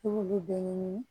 I b'olu bɛɛ ɲini